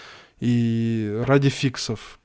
и ради фиксов